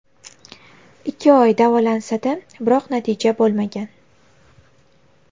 Ikki oy davolansa-da, biroq natija bo‘lmagan.